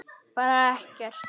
Bara ekkert.